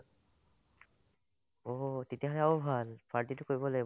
অ', তেতিয়াহ'লে আৰু ভাল party টো কৰিব লাগিব